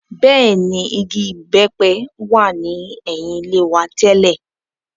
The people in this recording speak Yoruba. Bẹ́ẹ̀ ni, igi ìbẹ́pẹ wà ní ẹ̀yìn ilé wa tẹ́lẹ̀.